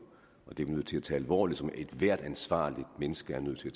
og det er vi nødt til at tage alvorligt som ethvert ansvarligt menneske er nødt til